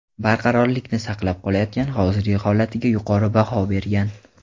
barqarorlikni saqlab qolayotgan hozirgi holatiga yuqori baho bergan.